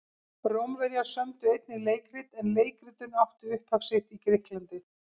Rómverjar sömdu einnig leikrit en leikritun átti upphaf sitt í Grikklandi.